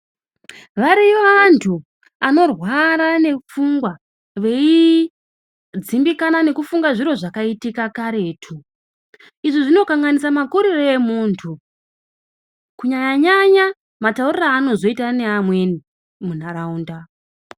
Variyo antu anorwara nepfunga veidzimbikana nezviri zvakaitika karetu. Izvo zvinokanganisa makurire amuntu kunyanya-nyanya matauriro anozoita neamweni munharaunda.